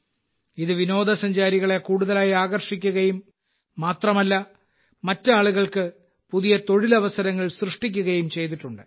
ഇത് വിനോദസഞ്ചാരികളെ കൂടുതലായി ആകർഷിക്കുകയും മാത്രമല്ല മറ്റ് ആളുകൾക്ക് പുതിയ തൊഴിലവസരങ്ങൾ സൃഷ്ടിക്കുകയും ചെയ്തിട്ടുണ്ട്